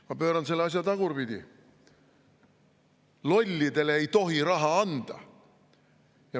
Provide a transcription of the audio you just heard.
Ma pööran selle asja tagurpidi: lollidele ei tohi raha anda!